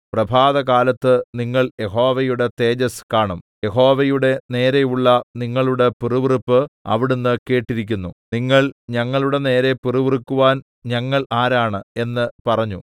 പ്രഭാതകാലത്ത് നിങ്ങൾ യഹോവയുടെ തേജസ്സ് കാണും യഹോവയുടെ നേരെയുള്ള നിങ്ങളുടെ പിറുപിറുപ്പ് അവിടുന്ന് കേട്ടിരിക്കുന്നു നിങ്ങൾ ഞങ്ങളുടെ നേരെ പിറുപിറുക്കുവാൻ ഞങ്ങൾ ആരാണ് എന്ന് പറഞ്ഞു